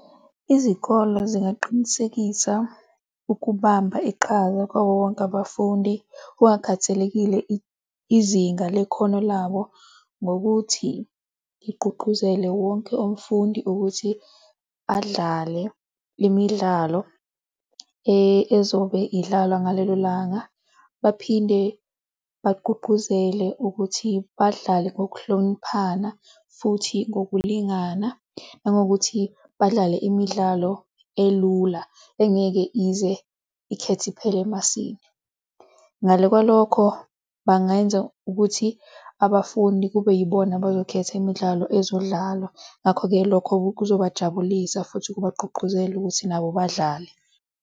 Izikole zingaqinisekisa ukubamba iqhaza kwawowonke abafundi kungakhathalekile izinga lekhono labo. Ngokuthi igqugquzele wonke umfundi ukuthi adlale imidlalo ezobe idlalwa ngalelo langa. Baphinde bagqugquzele ukuthi badlale ngokuhloniphana futhi ngokulingana nangokuthi badlale imidlalo elula engeke ize ikhethe iphele emasini. Ngale kwalokho bangenza ukuthi abafundi kube yibona abazokhetha imidlalo ezodlalwa. Ngakho-ke lokho kuzobajabulisa futhi kubagqugquzele ukuthi nabo badlale.